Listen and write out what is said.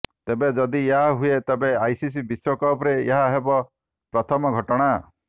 ତେବେ ଯଦି ଏହା ହୁଏ ତେବେ ଆଇସିସି ବିଶ୍ୱକପ୍ ରେ ଏହା ହେବ ପ୍ରଥମ ଘଟଣା